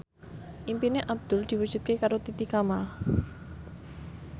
impine Abdul diwujudke karo Titi Kamal